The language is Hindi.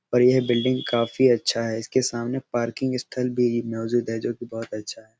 और यह बिल्डिंग काफी अच्छा है। इसके सामने पार्किंग स्थल भी मोजूद है जो कि बहुत अच्छा है।